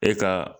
E ka